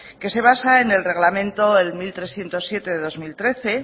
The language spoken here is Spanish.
que se basa en el reglamento el mil trescientos siete del dos mil trece